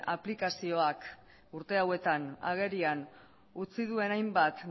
aplikazioak urte hauetan agerian utzi duen hainbat